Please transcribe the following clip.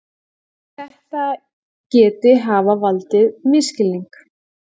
Þetta geti hafa valdið misskilningi